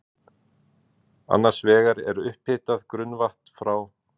Annars vegar er upphitað grunnvatn frá